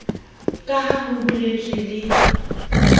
ka ha ho boletswe le